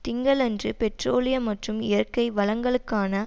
திங்களன்று பெட்ரோலிய மற்றும் இயற்கை வளங்களுக்கான